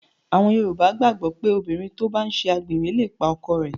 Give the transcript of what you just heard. Àwọn yoòbá gbàgbọ̀ pé obìnrin tó bá n ṣe àgbèrè lè pa ọkọ rẹ̀